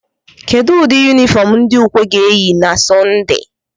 Kedụ ụdị yunifọm ndị ukwe ga-eyi na sọnde?